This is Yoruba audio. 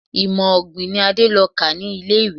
Imọ-ọ̀gbìn ni Adé lọ kà ní ilé-ìwé.